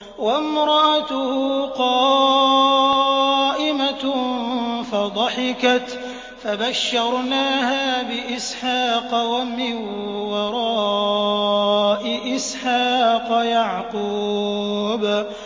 وَامْرَأَتُهُ قَائِمَةٌ فَضَحِكَتْ فَبَشَّرْنَاهَا بِإِسْحَاقَ وَمِن وَرَاءِ إِسْحَاقَ يَعْقُوبَ